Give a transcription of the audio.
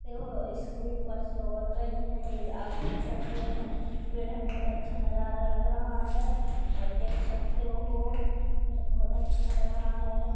ते हो इसके उपर से और गई है एक आप देख सकते हो उधर पेड़ है बहुत अच्छा नज़ारा लग रहा है आप देख सकते हो इधर बहुत अच्छा लग रहा है।